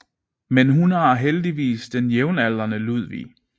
Men hun har heldigvis den jævnaldrende Ludvig